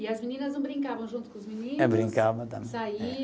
E as meninas não brincavam junto com os meninos? É brincava também.